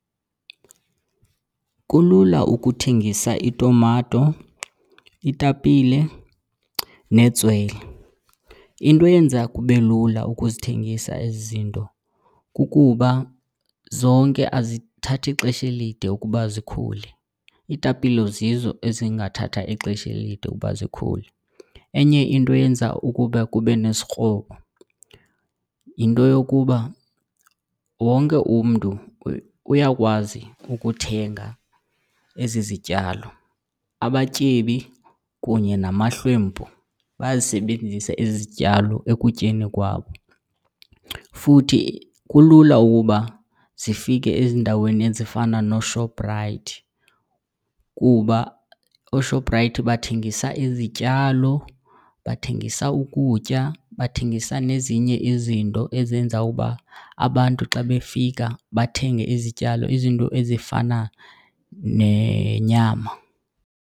Kulula ukuthengisa itumato, itapile netswele. Into eyenza kube lula ukuzithengisa ezi zinto kukuba zonke azithathi xesha elide ukuba zikhule, iitapile zizo ezingathatha ixesha elide ukuba zikhule. Enye into eyenza ukuba kube nesikrobo yinto yokuba wonke umntu uyakwazi ukuthenga ezi zityalo, abatyebi kunye namahlwempu bayazisebenzisa ezi zityalo ekutyeni kwabo. Futhi kulula ukuba zifike ezindaweni ezifana nooShoprite kuba ooShoprite bathengisa izityalo, bathengisa ukutya, bathengisa nezinye izinto ezenza uba abantu xa befika bathenge izityalo. Izinto ezifana nenyama.